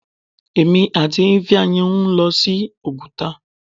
Èmi àti Ifeanyi ń lọ sí Oguta.